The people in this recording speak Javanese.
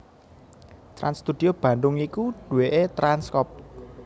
Trans Studio Bandung iku duwéké Trans Crop